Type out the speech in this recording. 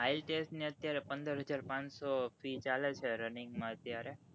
ITLS ની અત્ય્રારે પંદરહાજર પાનસો fee ચાલે છે running માં અત્યારે